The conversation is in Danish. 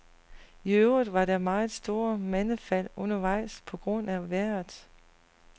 I øvrigt var der meget stort mandefald undervejs på grund af vejret.